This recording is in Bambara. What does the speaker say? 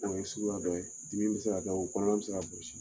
O fana ye suguya dɔ, dimi bɛ se ka da o kɔnɔna bɛ se bɔsi.